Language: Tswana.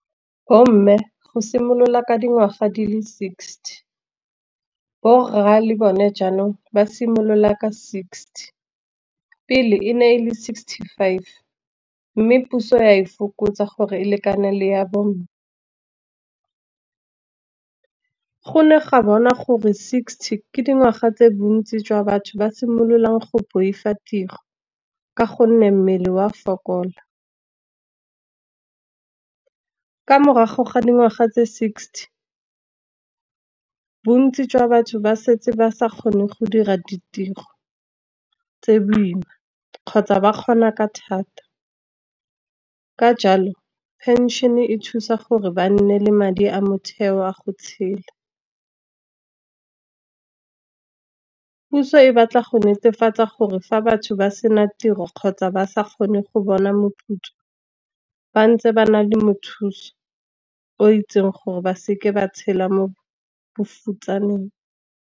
Bo mme go simolola ka dingwaga di le sixty, borra le bone jaanong ba simolola ka sixty. Pele e ne e le sixty-five mme puso ya e fokotsa, gore e lekane le ya bo mme. Go ne ga bona gore sixty ke dingwaga tse bontsi jwa batho ba simololang go boifa ditiro, ka gonne mmele wa fokola. Ka morago ga dingwaga tse sixty bontsi jwa batho ba setse ba sa kgone go dira ditiro tse boima, kgotsa ba kgona ka thata. Ka jalo pension-e thusa gore ba nne le madi a motheo a go tshela. Puso e batla go netefatsa gore fa batho ba sena tiro, kgotsa ba sa kgone go bona moputso, ba ntse ba na le mothusi o itseng gore ba seke ba tshela mo bofutsaneng.